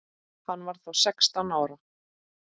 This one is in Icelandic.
Hann var þá sextán ára.